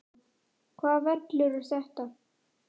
Hvaða vellir eru þetta?